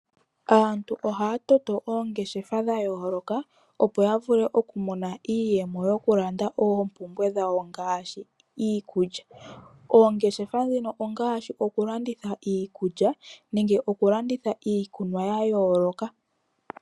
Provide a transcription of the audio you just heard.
Aantu ohaya toto oongeshefa dha yooloka, opo yavule oku mona iiyemo yo ku landa oompubwe dhawo ngaashi iikulya. Oongeshefa dhino ongaashi oku landitha iikulya nenge oku landitha iikunwa ya yooloka.